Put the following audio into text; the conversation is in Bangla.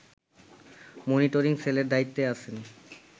মনিটরিং সেলের দায়িত্বে আছেন